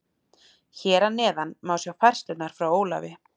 Hér að neðan má sjá færslurnar frá Ólafi.